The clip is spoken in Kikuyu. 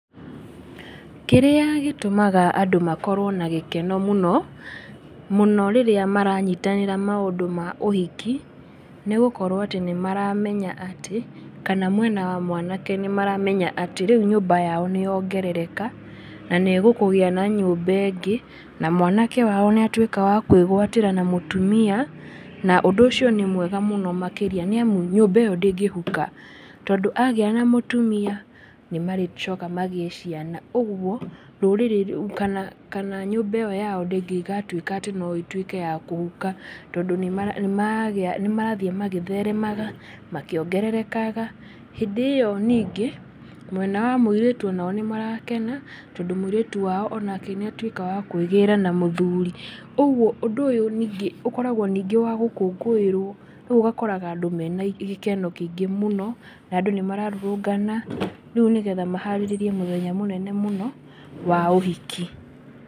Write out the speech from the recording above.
Kĩrĩa gĩtũmaga andũ makorwo na gĩkeno mũno, mũno rĩrĩa maranyitanĩra maũndũ ma ũhiki nĩ gũkorwo atĩ nĩ maramenya atĩ, kana mwena wa mwanake nĩ maramenya atĩ rĩu nyũmba yao nĩ yongerereka, na nĩ gũkũgĩa na nyũmba ĩngĩ, na mwanake wao nĩ atwĩka wa kwĩgwatĩra na mũtumia. Na ũndũ ũcio nĩ mwega mũno makĩria nĩ amu nyũmba ĩyo ndĩngĩhuka. Tondũ agĩa na mũtumia nĩ marĩcoka magĩe ciana. Ũguo rũrĩrĩ rũu kana nyũmba ĩyo yao ndĩngĩgatwĩka atĩ no ĩtwĩke ya kũhuka, tondũ nĩ marathiĩ magĩtheremaga, makĩongererekaga. Hĩndĩ ĩyo ningĩ, mwena wa mũirĩtu onao nĩ marakena tondũ mũirĩtu wao onake nĩ atwĩka wa kwĩgĩra na mũthuri. Ũguo ũndũ ũyũ ningĩ ũkoragwo ningĩ wa gũkũngũĩrwo. Rĩu ũgakoraga andũ me na gĩkeno kĩingĩ mũno, na andũ nĩ mararũrũngana rĩu nĩ getha maharĩrĩrie mũthenya mũnene mũno wa ũhiki.